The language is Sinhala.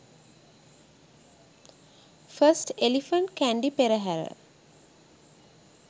first elephant kandy perehara